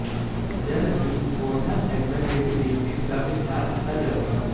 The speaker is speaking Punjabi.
ਜਲਦ ਹੀ ਹੋਰਨਾ ਸੈਗਮੈਂਟ ਵਿੱਚ ਵੀ ਇਸ ਦਾ ਵਿਸਥਾਰ ਕੀਤਾ ਜਾਵੇਗਾ